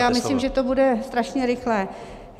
Já myslím, že to bude strašně rychlé.